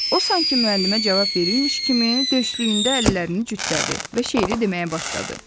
O sanki müəllimə cavab verirmiş kimi döşlüyündə əllərini cütlədi və şeiri deməyə başladı.